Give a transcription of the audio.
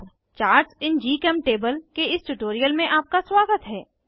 charts in GChemTable के इस tutorial में आपका स्वागत है